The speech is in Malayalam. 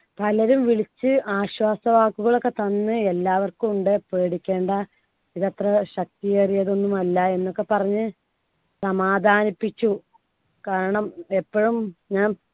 പലരും വിളിച്ച് ആശ്വാസവാക്കുകൾ ഒക്കെ തന്ന് എല്ലാവർക്കും ഉണ്ട് പേടിക്കേണ്ട ഇത് അത്ര ശക്തിയേറിയതൊന്നും അല്ല എന്നൊക്കെ പറഞ്ഞു സമാധാനിപ്പിച്ചു. കാരണം എപ്പഴും ഞാൻ